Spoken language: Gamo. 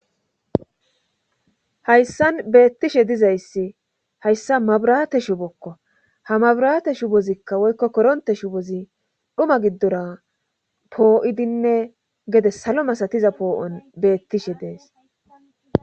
hayssan beettishe dizayssi hayssa mabiraate shubokko ha mabiraate shu bozikka woykko koronte shubozi dhuma giddora poo7idinne gede salo masatiza poo7on beettishe dees